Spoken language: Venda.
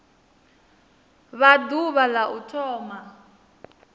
vha ḓuvha la u thoma